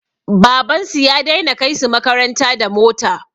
Baban su ya dai na kai su makaranta da mota